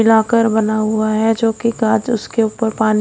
locker बना हुआ है जो कि काच उसके ऊपर पानी--